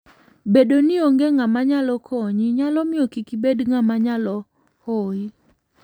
Bedo ni onge ng'ama nyalo konyi, nyalo miyo kik ibed ng'ama nyalo hoyi.